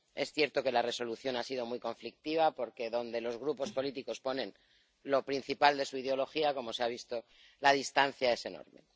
Es cierto que la Resolución ha sido muy conflictiva, porque donde los grupos políticos ponen lo principal de su ideología, como se ha visto, la distancia es enorme.